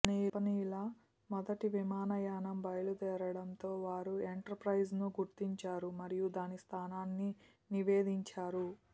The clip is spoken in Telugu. జపనీయుల మొదటి విమానయానం బయలుదేరడంతో వారు ఎంటర్ప్రైజ్ను గుర్తించారు మరియు దాని స్థానాన్ని నివేదించారు